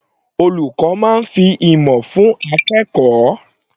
Olùkọ́ máa fi ìmọ̀ fún akẹ́kọ̀ọ́.